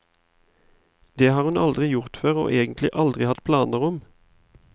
Det har hun aldri gjort før, og egentlig aldri hatt planer om.